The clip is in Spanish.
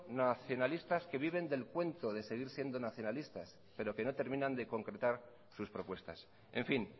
nacionalistas que viven del cuento de seguir siendo nacionalistas pero que no terminan de concretar sus propuestas en fin